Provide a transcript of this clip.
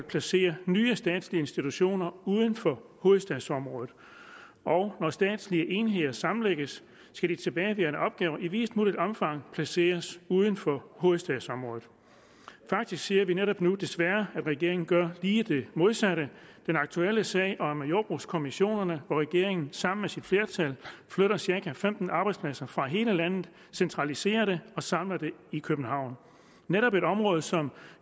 placere nye statslige institutioner uden for hovedstadsområdet og når statslige enheder sammenlægges skal de tilbageværende opgaver i videst muligt omfang placeres uden for hovedstadsområdet faktisk ser vi netop nu desværre at regeringen gør lige det modsatte i den aktuelle sag om jordbrugskommissionerne hvor regeringen sammen med sit flertal flytter cirka femten arbejdspladser fra hele landet centraliserer det og samler det i københavn netop et område som